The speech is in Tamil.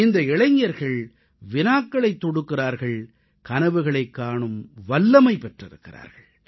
இந்த இளைஞர்கள் வினாக்களைத் தொடுக்கிறார்கள் கனவுகளைக் காணும் வல்லமை பெற்றிருக்கிறார்கள்